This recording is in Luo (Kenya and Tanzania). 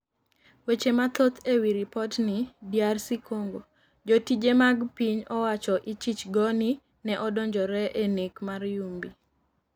Weche mathoth ewi ripotni DR Congo: jotije mag piny owacho ichich go ni ne odonjore e nek mar Yumbi